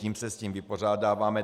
Tím se s tím vypořádáváme.